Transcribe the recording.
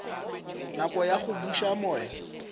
nako ya go buša moya